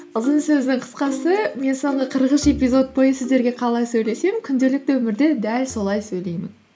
ұзын сөздің қысқасы мен соңғы қырық үш эпизод бойы сіздерге қалай сөйлесем күнделікті өмірде де дәл солай сөйлеймін